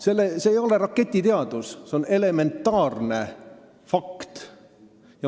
See ei ole raketiteadus, see on elementaarne fakt.